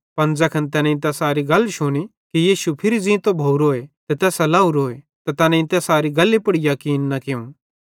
पन ज़ैखन तैनेईं तैसारी गल शुनी कि यीशु फिरी ज़ींतो भोरोए ते तैसां लेवरोए त तैनेईं तैसारी गल्ली पुड़ याकीन न कियूं